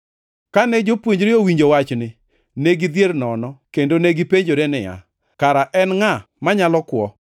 Kane jopuonjre owinjo wachni, ne gidhier nono kendo negipenjore niya, “Kare en ngʼa manyalo kwo?”